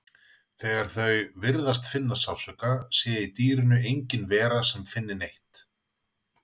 þegar þau virðist finna sársauka sé í dýrinu engin vera sem finni neitt